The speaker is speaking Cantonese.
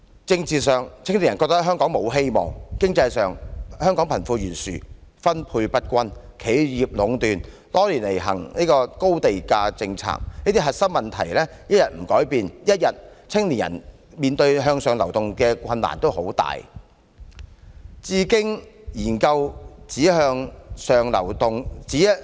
政治上，青年人覺得香港沒有希望；經濟上，香港貧富懸殊、分配不均，企業壟斷、多年來實行高地價政策，這些核心的結構問題一天不改變，青年人只會繼續面對很大的向上流動的困難。